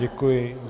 Děkuji.